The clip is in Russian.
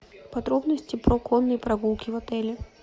подробности про конные прогулки в отеле